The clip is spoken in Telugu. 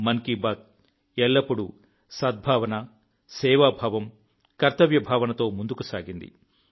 మన్ కీ బాత్ ఎల్లప్పుడూ సద్భావన సేవాభావం కర్తవ్య భావనతో ముందుకు సాగింది